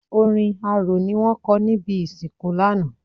Orin arò ni wọ́n kọ ní ibi ìsìnkú lánàá.